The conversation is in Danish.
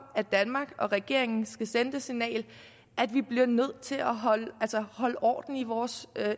at danmark og regeringen skal sende det signal at vi bliver nødt til at holde orden i vores